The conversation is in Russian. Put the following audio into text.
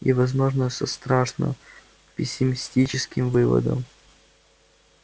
и возможно со страшно пессимистическим выводом